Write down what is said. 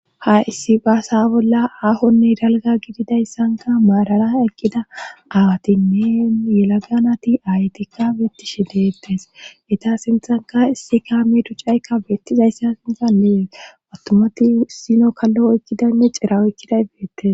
ha issi baasa bolla ahonne dalga gididayssanka maarara eqqida awatinne yelaga nati ayetikka beettishi dettes eta sinthanka issi kaami ducaykka beettizayssa sinta lees attumati isino kallo ekkidaynne cira oykkiday beettes